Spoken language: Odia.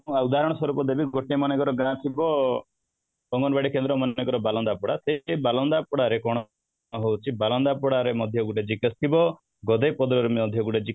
ଅଂ ଉଦାହରଣ ସ୍ୱରୂପ ଦେବି ଗୋଟେ ମନେକର ଗାଁ ଥିବ ଅଙ୍ଗନବାଡି କେନ୍ଦ୍ର ମନେକର ବାଲନ୍ଦା ପଡା ଏ ବାଲନ୍ଦା ପଡା ରେ କ'ଣ ହଉଛି ବାଲନ୍ଦା ପଡା ରେ ମଧ୍ୟ ଗୋଟେ GKS ଥିବ ପଡା ରେ ମଧ୍ୟ